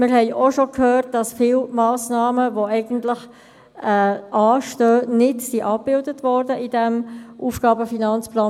Wir haben auch schon gehört, dass viele Massnahmen, die eigentlich anstehen, in diesem AFP nicht abgebildet worden sind.